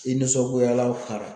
I nisɔngoyalaw